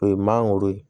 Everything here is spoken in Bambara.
O ye mangoro ye